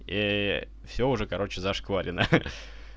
всё уже короче зашкварено